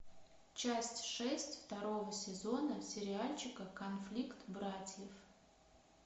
часть шесть второго сезона сериальчика конфликт братьев